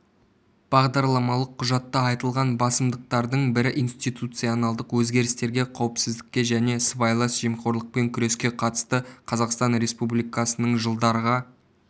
бағдарламалық құжатта айтылған басымдықтардың бірі институционалдық өзгерістерге қауіпсіздікке және сыбайлас жемқорлықпен күреске қатысты қазақстан республикасының жылдарға